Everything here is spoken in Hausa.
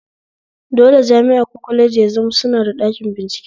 Dole jami'a ko kwaleji ya zama suna da ɗakin bincike